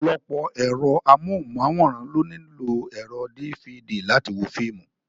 Ọ̀pọ̀lọpọ̀ ẹ̀rọ amóhùnmáwòrán ló nílò ẹ̀rọ dífidì láti wo fíìmù.